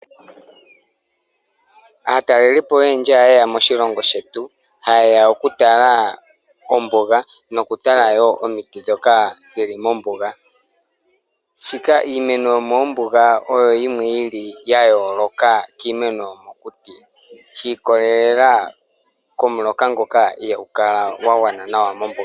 Aatalelipo oyendji ohayeya moshilongo shetu hayeya okutalaa ombuga nokutala woo omiti dhokaa dhili mombuga . Shoka iimeno yomoombuga oyo yimwe li yayooloka kiimeno yomokuti, shiikolelela komuloka ngoka ihaagukala gwagwana nawa mombuga.